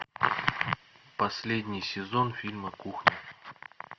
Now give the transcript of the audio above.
последний сезон фильма кухня